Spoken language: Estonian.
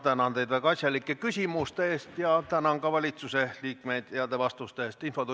Ma tänan teid väga asjalike küsimuste eest ja tänan ka valitsuse liikmeid heade vastuste eest!